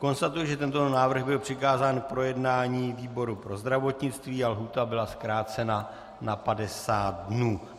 Konstatuji, že tento návrh byl přikázán k projednání výboru pro zdravotnictví a lhůta byla zkrácena na 50 dní.